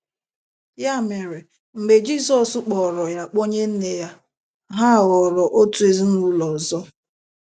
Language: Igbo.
Ya mere, mgbe Jizọs kpọọrọ ya ‘ kpọnye nne ya, ’ ha ghọrọ otu ezinụlọ ọzọ.